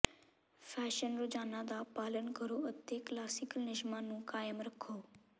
fashion ਰੁਝਾਨਾਂ ਦਾ ਪਾਲਣ ਕਰੋ ਅਤੇ ਕਲਾਸੀਕਲ ਨਿਯਮਾਂ ਨੂੰ ਕਾਇਮ ਰੱਖੋ